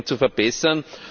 zu verbessern.